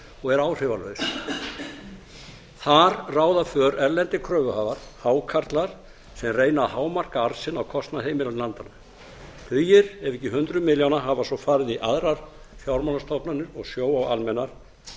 og er áhrifalaus þar ráða för erlendir kröfuhafar hákarlar sem reyna að hámarka arð sinn á kostnað heimilanna í landinu tugir ef ekki hundruð milljóna hafa svo farið í aðrar fjármálastofnanir og sjóvá almennar